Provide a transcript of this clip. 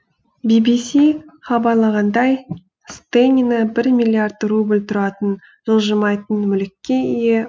би би си хабарлағандай стенина бір миллиард рубль тұратын жылжымайтын мүлікке ие